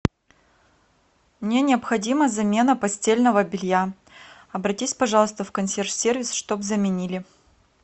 мне необходима замена постельного белья обратись пожалуйста в консьерж сервис чтобы заменили